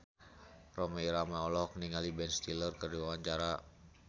Rhoma Irama olohok ningali Ben Stiller keur diwawancara